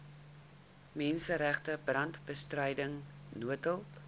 menseregte brandbestryding noodhulp